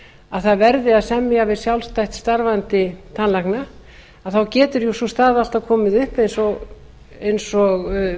að það verði að semja við sjálfstætt starfandi tannlækna getur sú staða alltaf komið upp eins og